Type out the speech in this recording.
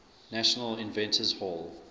national inventors hall